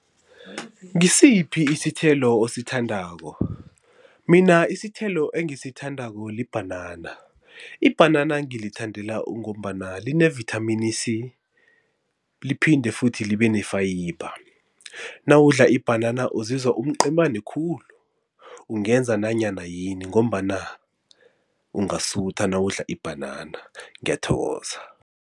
Ngisiphi isithelo osithandako? Mina isithelo engisithandako libhanana, ibhanana ngilithandela ungombana line-vithamini C liphinde futhi libe ne-fiber. Nawudla ibhanana uzizwa umqemani khulu ungenza nanyana yini ngombana ungasutha nawudla ibhanana ngiyathokoza.